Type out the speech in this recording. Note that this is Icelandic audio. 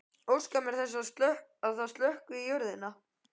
Óska mér þess að það sökkvi í jörðina.